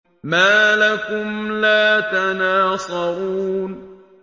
مَا لَكُمْ لَا تَنَاصَرُونَ